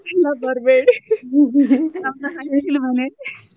ಇಲ್ಲ ಬರ್ಬೇಡಿ ನಮ್ದು ಹಂಚಿದು ಮನೆ .